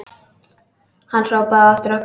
Hann hrópaði á eftir okkur.